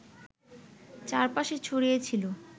চারপাশে ছড়িয়ে ছিল